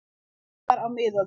Veiðar á miðöldum.